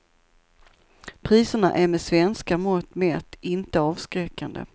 Priserna är med svenska mått mätt inte avskräckande.